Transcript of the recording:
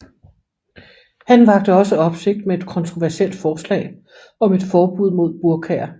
Han vakte også opsigt med et kontroversielt forslag om et forbud mod burkaer